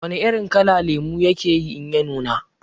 Wana irin kala lemo yake yi in ya nuna?